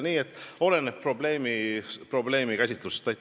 Nii et oleneb probleemikäsitlusest.